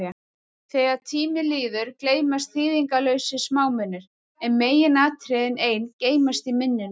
Þegar tími líður, gleymast þýðingarlausir smámunir, en meginatriðin ein geymast í minnum.